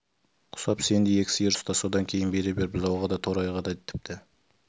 құсап сен де екі сиыр ұста содан кейін бере бер бұзауға да торайға да тіпті